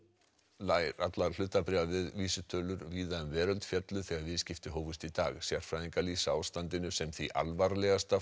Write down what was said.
nær allar hlutabréfavísitölur um víða veröld féllu þegar viðskipti hófust í dag sérfræðingar lýsa ástandinu sem því alvarlegasta